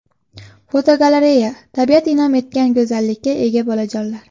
Fotogalereya: Tabiat in’om etgan go‘zallikka ega bolajonlar.